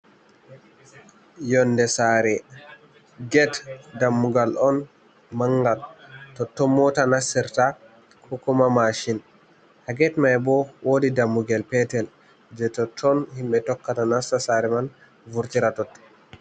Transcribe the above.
Yonnde saare get dammugal on manngal, totton moota nastirta ko kuma maacin. Haa get may bo, woodi dammugel peetel, jey totton himɓe tokkata nasta saare man, vurtira totton.